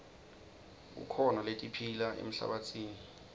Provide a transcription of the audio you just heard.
kukhona letiphila emhlabatsini